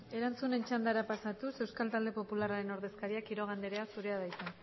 erantzunen txandara pasatuz euskal talde popularraren ordezkaria quiroga anderea zurea da hitza